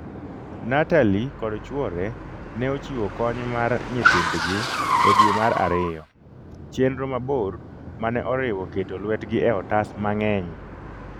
Natalie kod chuore ne ochiwo kony mar nyithindgi e dwe mar ariyo - chenro mabor mane oriwo keto lwetgi e otas mang'eny.